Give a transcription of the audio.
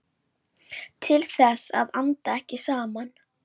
Til þess að anda ekki saman.